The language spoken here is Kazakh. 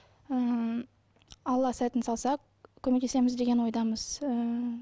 ыыы алла сәтін салса көмектесеміз деген ойдамыз ыыы